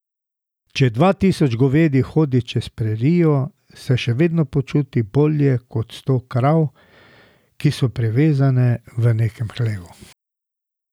Če dva tisoč govedi hodi čez prerijo, se še vedno počuti bolje kot sto krav, ki so privezane v nekem hlevu.